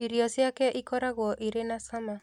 Irio ciake ikoragwo irĩ na cama